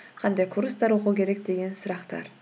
қандай курстар оқу керек деген сұрақтар